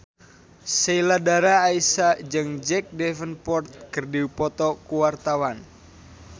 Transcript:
Sheila Dara Aisha jeung Jack Davenport keur dipoto ku wartawan